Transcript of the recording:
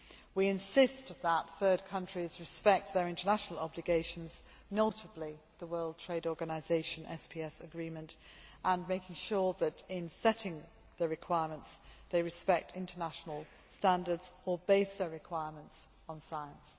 We insist that third countries respect their international obligations, notably the World Trade Organisation SPS agreement, making sure that, when setting requirements, they respect international standards or base their requirements on science.